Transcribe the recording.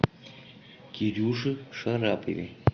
кирюше шарапове